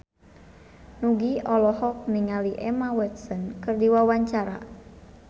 Nugie olohok ningali Emma Watson keur diwawancara